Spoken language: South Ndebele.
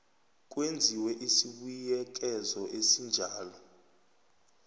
kwenziwe isibuyekezo esinjalo